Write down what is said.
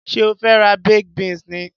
Ṣé o fe ra baked beans ni?